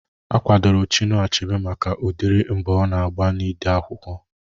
Akwadoro Chinua Achebe maka udiri mbọ ọ na-agba n'ide akwụkwọ